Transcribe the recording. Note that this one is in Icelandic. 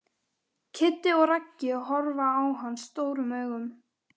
Kiddi og Raggi horfa á hann stórum augum.